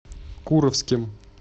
куровским